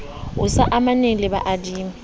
o sa amaneng le baadimi